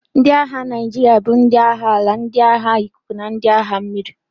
Ndị agha Naijiria bụ ndị agha ala, ndị agha ikuku, na ndị agha mmiri.